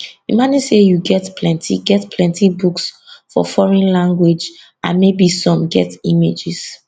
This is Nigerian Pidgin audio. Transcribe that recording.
imagine say you get plenti get plenti books for foreign language and maybe some get images